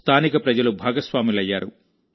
స్థానిక ప్రజలు భాగస్వాములయ్యారు